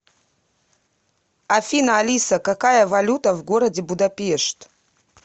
афина алиса какая валюта в городе будапешт